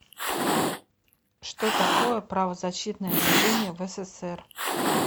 что такое правозащитное движение в ссср